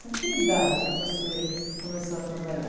Com que idade você começou a trabalhar?